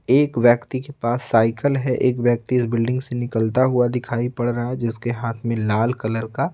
एक व्यक्ति के पास साइकिल है एक व्यक्ति इस बिल्डिंग से निकलता हुआ दिखाई पड़ रहा है जिसके हाथ में लाल कलर का--